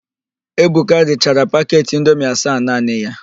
Ebuka richara paket indomi asaa naanị ya.